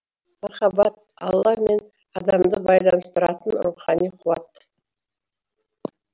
махаббат алла мен адамды байланыстыратын рухани қуат